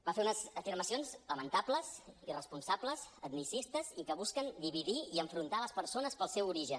va fer unes afirmacions lamentables irresponsables etnicistes i que busquen dividir i enfrontar les persones pel seu origen